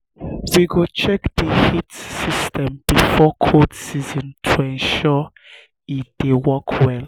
um we go check the heating system before cold season to ensure e dey work well.